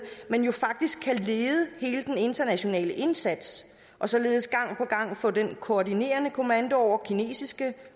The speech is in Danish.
men jo faktisk kan lede hele den internationale indsats og således gang på gang få den koordinerende kommando over kinesiske